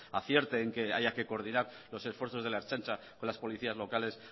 acierte en que haya que coordinar los esfuerzos de la ertzaintza con las policías locales